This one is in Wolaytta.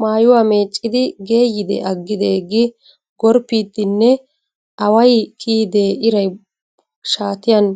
Mayuwa meecciiddi geeyyide aggidee gi gorppiiddinne away kiyidee ira shaatiyan